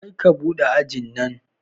Karka buɗe ajin nan